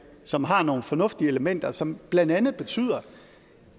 som har nogle fornuftige elementer som blandt andet betyder